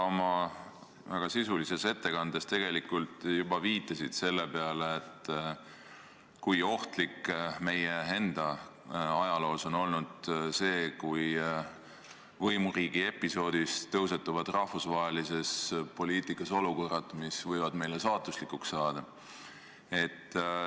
Sa oma väga sisulises ettekandes tegelikult juba viitasid sellele, kui ohtlik meie enda ajaloos on olnud see, kui võimuriigi episoodist tõusetuvad rahvusvahelises poliitikas olukorrad, mis võivad meile saatuslikuks saada.